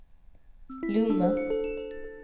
Lomma